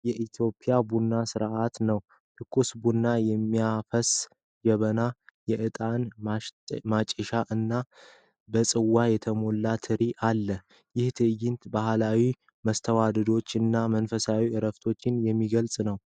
የኢትዮጵያን ቡና ሥነ ሥርዓት ነው። ትኩስ ቡና የሚያፈስ ጀበና ፣ የእጣን ማጤሻ እና በጽዋ የተሞላ ትሪ አለ ። ይህ ትዕይንት ባህላዊ መስተንግዶን እና መንፈሳዊ ዕረፍትን የሚገልጽ ነው።